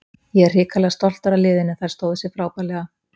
Ég er hrikalega stoltur af liðinu, þær stóðu sig frábærlega.